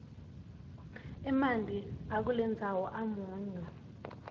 emanti akulendzawo amunyu